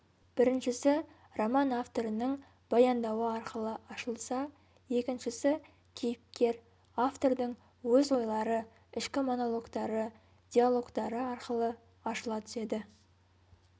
біріншісі роман авторының баяндауы арқылы ашылса екіншісі кейіпкер автордың өз ойлары ішкі монологтары диалогтары арқылы ашыла түседі